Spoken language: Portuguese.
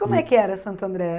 Como é que era, Santo André? Hum